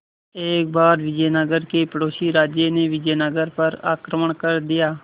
एक बार विजयनगर के पड़ोसी राज्य ने विजयनगर पर आक्रमण कर दिया